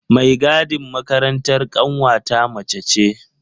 Mai gadin makarantar ƙanwata mace ce.